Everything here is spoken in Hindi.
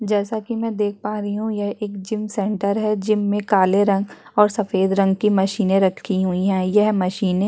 जैसे कि मैं देख पा रही हूँ यह एक जिम सेंटर है जिम में काले रंग और सफेद रंग की मशीने रखी हुई हैं यह मशीने --